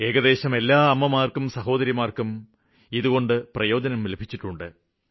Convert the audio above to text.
ഏകദേശം അരലക്ഷം അമ്മമാര്ക്കും സഹോദരങ്ങള്ക്കും ഇതുകൊണ്ട് പ്രയോജനം ലഭിച്ചിട്ടുണ്ട്